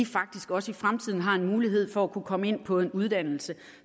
faktisk også i fremtiden har en mulighed for at kunne komme ind på en uddannelse